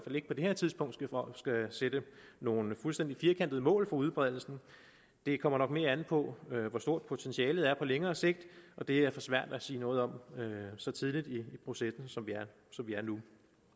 det her tidspunkt skal sætte nogle fuldstændig firkantede mål for udbredelsen det kommer nok mere an på hvor stort potentialet er på længere sigt og det er for svært at sige noget om så tidligt i processen som vi er nu